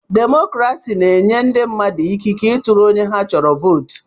Demokrasi na-enye ndị mmadụ ikike ị tụrụ onye ha chọrọ vootu.